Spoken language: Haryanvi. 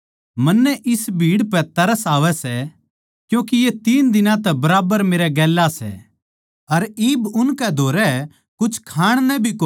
मन्नै इस भीड़ पै तरस आवै सै क्यूँके ये तीन दिनां तै बराबर मेरै गेल्या सै अर इब उनकै धोरै कुछ खाण नै भी कोनी बचा